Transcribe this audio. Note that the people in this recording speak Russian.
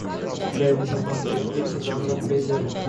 дай мне посмотреть фильм жанра триллер